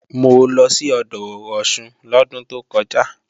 Mo lọ sí odò Ọ̀ṣun lọ́dún tó kọjá